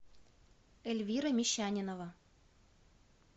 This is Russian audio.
эльвира мещанинова